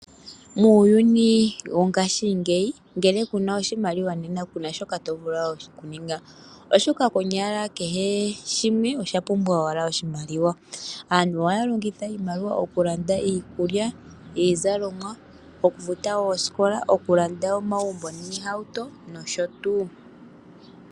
Muuyuni wongaashingeyi ngele ku na oshimaliwa nena ku na shoka to vulu okuninga, oshoka konyala kehe shimwe osha pumbwa owala oshimaliwa. Aantu oha ya longitha iimaliwa okulanda iikulya, iizalomwa, okufuta oosikola, okulanda omagumbo, iihauto nosho tuu.